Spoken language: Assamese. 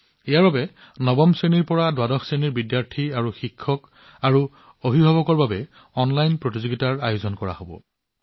ইয়াৰ বাবে নৱমৰ পৰা দ্বাদশ শ্ৰেণীৰ শিক্ষাৰ্থী শিক্ষক আৰু অভিভাৱকৰ বাবে অনলাইন প্ৰতিযোগিতাও আয়োজন কৰা হব